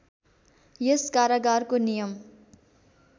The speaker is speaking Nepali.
यस कारागारको नियम